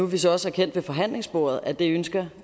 vi så også erkendt ved forhandlingsbordet at det ønsker